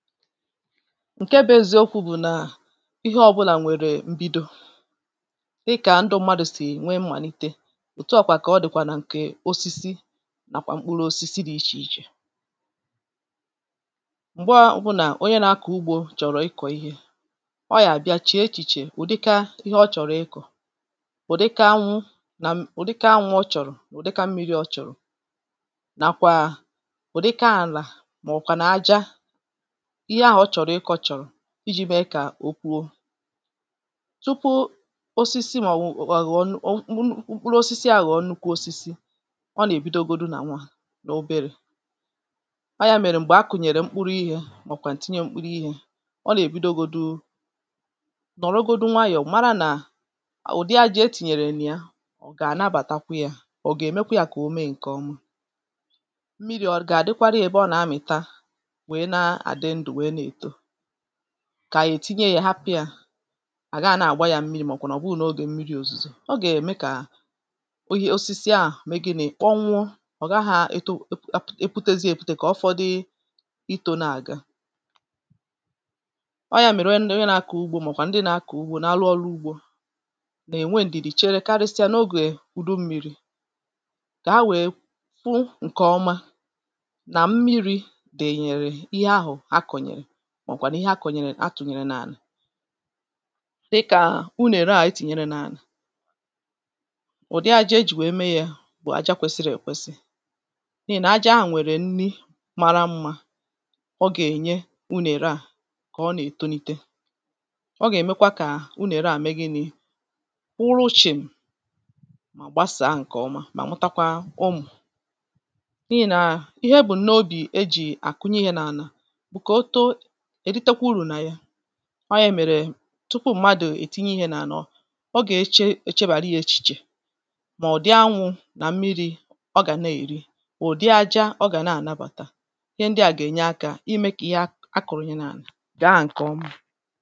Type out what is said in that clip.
Nke bụ̀ eziokwu̇ bụ̀ nà ihe ọbụ̇là nwèrè m̀bido, dịkà ndụ mmadụ̀ sì nwee mmàlite, òtùọkwa kà ọ dị̀kwà nà ǹkè osisi nàkwà mkpụrụ̇ osisi dị̇ ichè ichè. Mgbọ ọbụnà onye na-akọ̀ ugbȯ chọ̀rọ̀ ịkọ̀ ihe, ọọ̀ yà bịa chie echìchè ụ̀dịka ihe ọ chọ̀rọ̀ ịkọ̀, ụ̀dịka anwu nà ụ̀dịka anwu ọ chọ̀rọ̀ na ụ̀dịka mmiri ọ chọ̀rọ̀. Nàkwà ụ̀dịka ànà mà ọ̀kwànu àja ihe ahụ̀ ọ chọ̀rọ̀ ịkọ̇ chọ̀rọ̀ iji̇ mẹẹ kà o poo. Tupu osisi mà ò nwù àghị̀ mkpụrụosisi agho nnùkwu osisi, ọ nà èbidogodu nà nwà, n’oberė, ọ yȧ mẹ̀rẹ̀ m̀gbè a kùnyèrè mkpuru ihė, mà ọ̀ kwàǹu tinye mkpuru ihė, ọ nà èbidogodu, nọ̀rọgodu nwayọ̀ mara nà ụ̀dị àjà etìnyèrè nà ya ọ̀ gà ànabàtakwa ya, ọ̀ gà èmekwa ya kà o mee ǹkẹ̀ ọma, mmiri̇ ọ̀ gà àdịkwara yȧ ebe ànà amị̀ta, nwèè n'adi ndu nwèè na-eto, kà à yà ètinye yȧ hapụ̇ yà, àgaà nà-àgba yȧ mmirị, màọ̀bụ̀ nà ọ bụghi nà o gèe mmiri̇ òzùzò. ọ gà-ème kà oye osisi à me gi̇ ni? Kponwuọ̀!̇ ọ̀ gaghȧ èto e eputezi èputè kà ọfọ̇dị itȯ na-àga. ọ yȧ mèrè onye nà-àkọ̀ ugbȯ màọ̀bụ̀ a ndị nà-àkọ̀ ugbȯ nà-alụ ọrụ ugbȯ, nà-ènwe ǹdìdì chere karịsịa n’ogè ùdu mmi̇ri̇ kà ha wèe fụ ǹke ọma nà mmiri̇ dènyèrè ihe ahụ̀ akọ̀nyèrè màọ̀bụ̀ kwà n’ihe akọ̀nyere atùnyere n’ànà. Dị kà unù ère à etìnyere n’ànà, ụ̀dị à ajȧ ejì nwèe mee yȧ, bụ̀ aja kwesiri èkwesi. N’ihì nà aja ahụ̀ nwèrè nni mara mmȧ ọ gà-ènye unù ère à kà ọ nà-èto nite. ọ gà-èmekwa kà unù ère à mee gịnị?̇ kwuụlụ chim! mà gbasàa ǹkè ọma mà mụtakwa ụmụ̀, n’ihì nà ihe e bù̀ n’obì ejì àkùnye ihe n’ànà bu ka o too, eritekwa uru na yà. ọ yà mèrè, tupu mmadụ̀ ètinye ihe nà-ànà, ọ gà-eche èchebàra yà echiche. Mà ụ̀dị anwụ̇ nà mmịrị̇ ọ gà na-èri, ụ̀dị ȧjà ọ gà nà-ànabàta. Ihe ndị à gà-ènye akȧ imė kà ihe a a kụ̀rụ̀yere nà-ànà gaa ǹkè ọma.